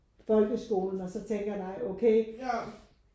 Folkeskolen og så tænker nej okay